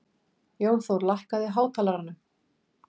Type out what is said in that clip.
Jónþór, lækkaðu í hátalaranum.